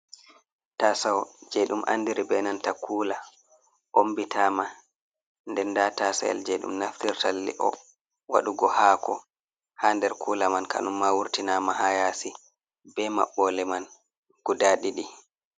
Tasoo jei ɗum andiri be nanta kuula ombitama nden nda tasel jei ɗum naftirta li’o waɗugo haako ha nder kuula man kanunma wurtinama ha yaasi be maɓɓole man guda ɗiɗi.